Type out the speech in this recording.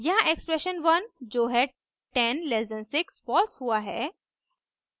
यहाँ एक्सप्रेशन 1 जो है 10 < 6 फॉल्स है